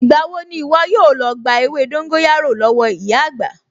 Ìgbà wo ni ìwọ yóò lọ gba ewé dóńgóyárò lọ́wọ́ ìyá àgbà?